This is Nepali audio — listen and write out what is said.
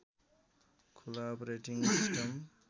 खुला अपरेटिङ्ग सिस्टम